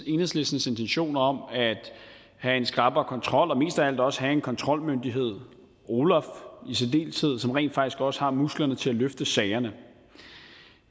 enhedslistens intentioner om at have en skrappere kontrol og mest af alt også have en kontrolmyndighed olaf i særdeleshed som rent faktisk også har musklerne til at løfte sagerne